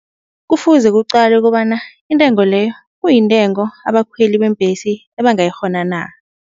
Kufuze kucalwe kobana intengo leyo kuyintengo abakhweli beembhesi ebangayikghona na.